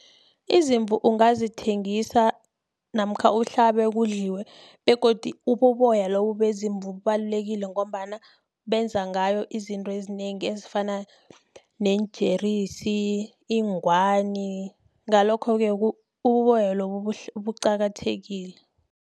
Izimvu ungazithengisa, namkha uhlabe kudliwe, begodi ububoya lobu beziimvu bubalulekile, ngombana benza ngayo izinto ezinengi, ezifana neenjerisi, iingwani, ngalokho-ke, ububoya lobu buqakathekile.